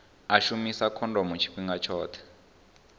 u shumisa khondomo tshifhinga tshoṱhe